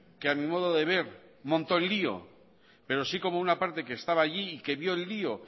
que a mi modo de ver montó el lío pero sí como una parte que estaba allí y que vio el lío